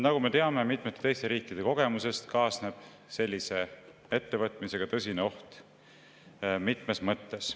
Nagu me teame mitmete teiste riikide kogemusest, kaasneb sellise ettevõtmisega tõsine oht mitmes mõttes.